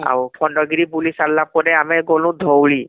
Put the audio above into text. ଆଉ ଖଣ୍ଡଗିରି ବୁଲି ସରିଲା ପରେ ଆମେ ଗଲୁ ଧଉଳି